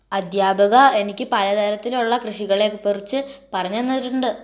അധ്യാപക എനിക്ക് പലതരത്തിലുള്ള കൃഷികളെ കുറിച്ച് പറഞ്ഞു തന്നിട്ടുണ്ട്